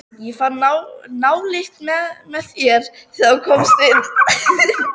Ég fann nálykt með þér, þegar þú komst inn.